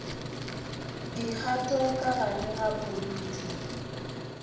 dikgato ka gare ga moriti